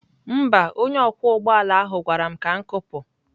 Mba, onye ọkwọ ụgbọ ala ahụ gwara m ka m kụpụ.